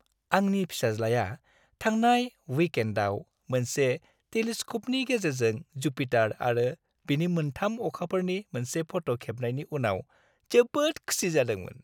आंनि फिसाज्लाआ थांनाय विकएन्डआव मोनसे टेलिस्क'पनि गेजेरजों जुपिटार आरो बिनि मोनथाम अखाफोरनि मोनसे फट' खेबनायनि उनाव जोबोद खुसि जादोंमोन।